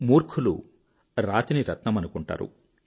మూర్ఖులు రాతిని రత్నమనుకుంటారు